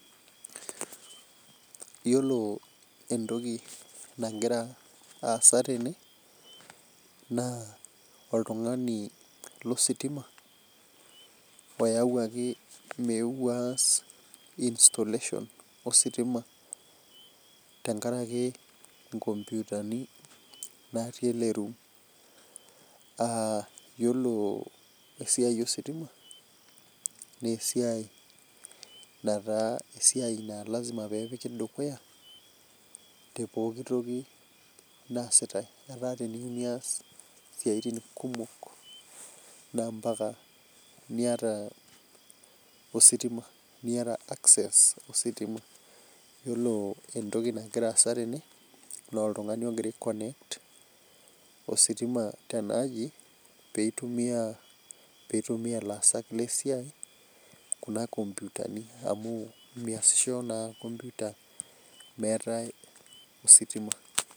Yiolo entoki nagira aasa tene naa oltungani lositima oyawuaki oyeuo aas installation ositima tenkaraki nkoputani natii ele room. Yiolo esiai ositima naa esiai nataa lasima pee epiki dukuya tepooki toki naasitae. Etaa teniyieu nias siaitin kumok naa mpaka niyata ositima. Yiolo entoki nagira aasa tene, naa oltungani ogira aikonect ositima tenaaji, pee eitumiyia laasak lesiai Kuna komputani amu meesisho na komputa meetae ositima.